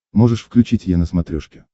можешь включить е на смотрешке